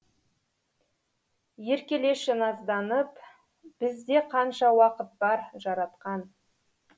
еркелеші назданып бізде қанша уақыт бар жаратқан